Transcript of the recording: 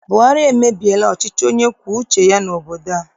Buhari emebiela ọchịchị onye kwue uche ya n'obodo a.